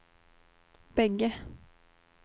bägge